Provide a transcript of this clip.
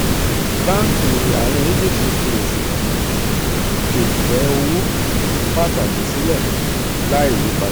banki àárín egypt fi oṣùwọ̀n um ìfẹ́ owó um pàtàkì sílẹ̀ láìyípadà.